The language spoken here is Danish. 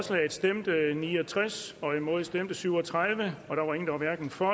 stemte ni og tres imod stemte syv og tredive hverken for